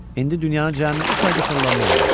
İndi dünyanın cəmi üç aya da fırlanmaq olar.